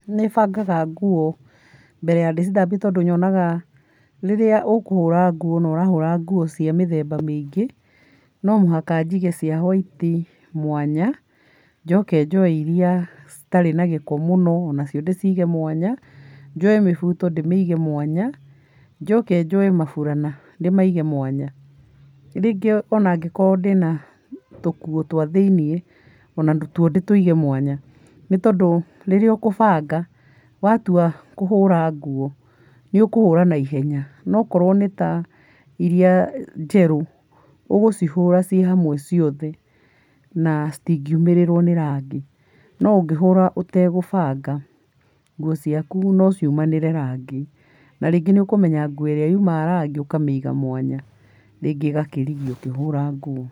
Nĩbangaga nguo mbere ya ndĩcithambie tondũ yonaga rĩrĩa ũkũhũra nguo na ũrahũra ngũo cia ,mĩthemba mĩingĩ no mũhaka njige cia hwaiti mwanya, njoke njoe iria citarĩ na gĩko mũno onacio ndĩcige mwanya, njoe mĩbũto ndĩmĩige mwanya, njoke njoe maburana ndĩmaige mwanya njoke rĩngĩ ũnaingĩkorwo ndĩna tũkuo twa thĩinĩ onatuo ndĩtũige mwanya, nĩtondũ rĩrĩa ũkũbanga watua kũhũra nguo nĩũkũhũra na ihenya na akorwo nĩ ta iria njerũ ũgũcihũra ciĩ hamwe ciothe na citingiumĩrĩrwo nĩ rangi no ũngĩ hũra ũtagũbanga nguo ciaku no ciumanĩre rangi na rĩngĩ nĩũkũmenyaga nguo ĩrĩa yũmaga rangi ũkamĩiga mwanya rĩngĩ ĩgakĩrigia ũkĩhũra nguo.